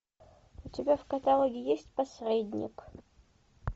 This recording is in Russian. у тебя в каталоге есть посредник